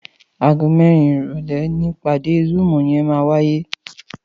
Àgó mèrín iròlè nipàdé zùúm yèn màwáyé